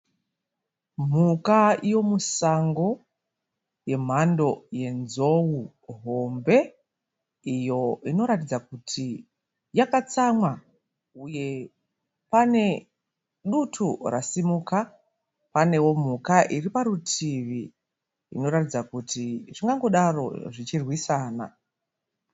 Mhuka yemusango yemhando yenzou hombe iyo inoratidza kuti yakatsamwa uye pane dutu rasimuka. Panewo mhuka iri parutivi inoratidza kuti zvingangodaro zvichirwisana.